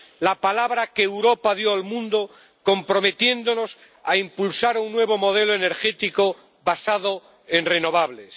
la palabra que Europa dio al mundo, comprometiéndonos a impulsar un nuevo modelo energético basado en renovables.